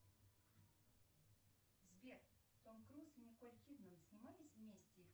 сбер том круз и николь кидман снимались вместе